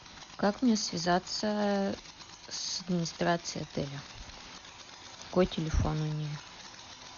как мне связаться с администрацией отеля какой телефон у них